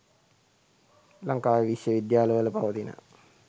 ලංකාවේ විශ්ව විද්‍යාල වල පවතින